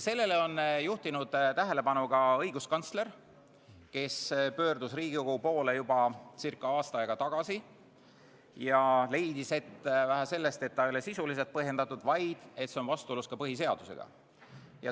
Sellele on juhtinud tähelepanu ka õiguskantsler, kes pöördus Riigikogu poole juba ca aasta aega tagasi ja leidis, et vähe sellest, et see ei ole sisuliselt põhjendatud, vaid see on vastuolus ka põhiseadusega.